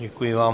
Děkuji vám.